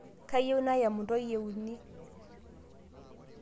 Kayieu nayem ntoiye uni